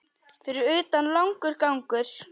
Fyrir utan langur gangur.